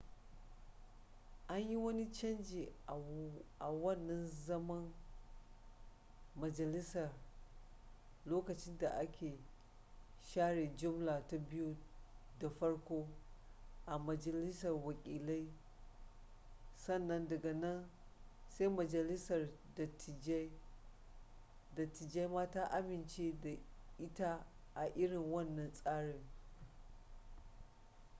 an yi wani canji a wannan zaman majalisar lokacin da aka share jumla ta biyu da farko a majalisar wakilai sannan daga nan sai majalisar dattijai ma ta amince da ita a irin wannan tsarin